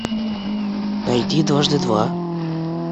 найди дважды два